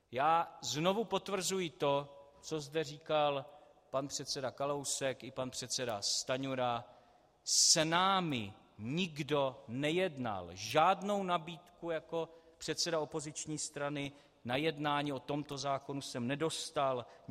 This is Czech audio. Já znovu potvrzuji to, co zde říkal pan předseda Kalousek i pan předseda Stanjura - s námi nikdo nejednal, žádnou nabídku jako předseda opoziční strany na jednání o tomto zákonu jsem nedostal.